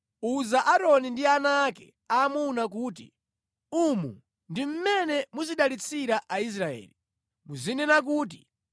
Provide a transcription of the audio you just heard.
“Uza Aaroni ndi ana ake aamuna kuti, ‘Umu ndi mmene muzidalitsira Aisraeli. Muzinena kuti,